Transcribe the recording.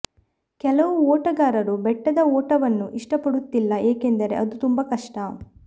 ಕೆಲವು ಓಟಗಾರರು ಬೆಟ್ಟದ ಓಟವನ್ನು ಇಷ್ಟಪಡುತ್ತಿಲ್ಲ ಏಕೆಂದರೆ ಅದು ತುಂಬಾ ಕಷ್ಟ